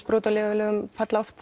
brot á lyfjalögum falla oft